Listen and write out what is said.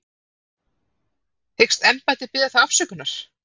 Hyggst embættið biðja þá afsökunar?